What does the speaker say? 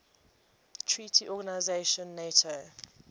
treaty organization nato